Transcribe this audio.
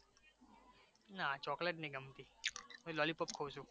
ના ચોકલેટ નહી ગમતી હુ લોલીપોપ ખઉ છુ